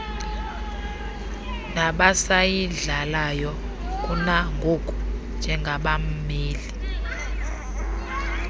nabasayidlalayo kunangoku njengabameli